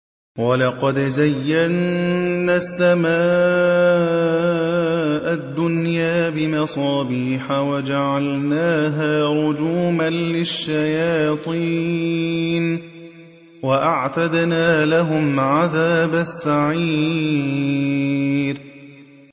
وَلَقَدْ زَيَّنَّا السَّمَاءَ الدُّنْيَا بِمَصَابِيحَ وَجَعَلْنَاهَا رُجُومًا لِّلشَّيَاطِينِ ۖ وَأَعْتَدْنَا لَهُمْ عَذَابَ السَّعِيرِ